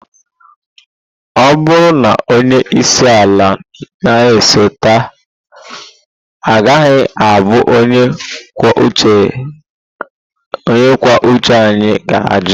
Ọ bụrụ na onye isi ala na-esote agaghị abụ onye kwuo uche anyị ga-ajụ!